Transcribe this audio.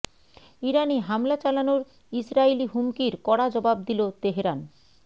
ইরানে হামলা চালানোর ইসরাইলি হুমকির কড়া জবাব দিল তেহরান